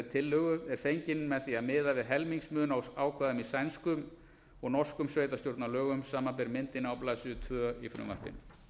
tillögu er fenginn með því að miða við helmingsmun á ákvæðum í sænskum og norskum sveitarstjórnarlögum samanber myndina á blaðsíðu tvö í frumvarpinu